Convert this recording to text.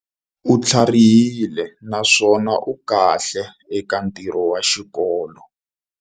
U tlharihile naswona u kahle eka ntirho wa xikolo.